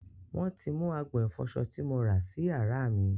Wọ́n ti mú agbọ̀n ìfọsọ tí mo rà sì yàrá mí.